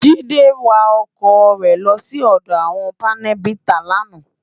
Jide wá òkò re lò si òdò áwòn pánèbitá làná